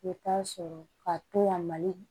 I bɛ taa sɔrɔ ka to yan mali